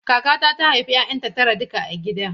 Kakata ta haifi 'ya'yanta tara duka a gida.